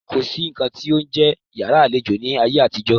Kò sí nǹkan tí ó ń jẹ́ yàrá àlejò ní ayé àtijó.